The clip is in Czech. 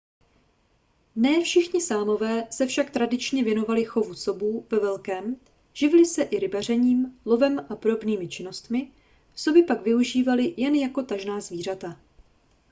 ne všichni sámové se však tradičně věnovali chovu sobů ve velkém živili se i rybařením lovem a podobnými činnostmi soby pak využívali jen jako tažná zvířata